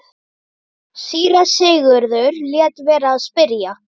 Um leið er einsog þungu fargi sé af mér létt.